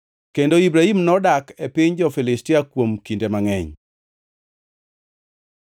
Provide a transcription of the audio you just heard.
Kendo Ibrahim nodak e piny jo-Filistia kuom kinde mangʼeny.